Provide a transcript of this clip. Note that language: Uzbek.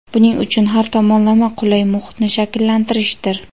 buning uchun har tomonlama qulay muhitni shakllantirishdir.